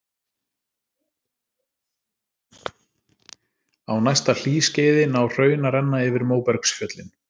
Á næsta hlýskeiði ná hraun að renna yfir móbergsfjöllin.